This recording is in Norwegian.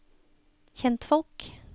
kjentfolk